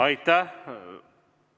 Aitäh!